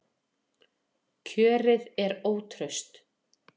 Kjörið er ótraust